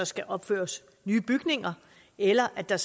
skal opføres nye bygninger eller at der